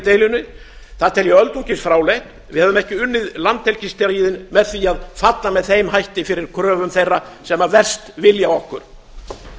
deilunni það tel ég öldungis fráleitt við hefðum ekki unnið landhelgisstríðin með því að falla með þeim hætti fyrir kröfum þeirra sem verst vilja okkur það